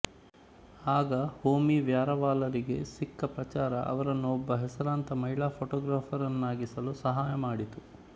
ಆಗ ಹೋಮಿ ವ್ಯಾರವಾಲರಿಗೆ ಸಿಕ್ಕ ಪ್ರಚಾರ ಅವರನ್ನು ಒಬ್ಬ ಹೆಸರಾಂತ ಮಹಿಳಾ ಫೋಟೋಗ್ರಾಫರ್ ನ್ನಾಗಿಸಲು ಸಹಾಯಮಾಡಿತು